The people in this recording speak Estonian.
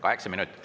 Kaheksa minutit.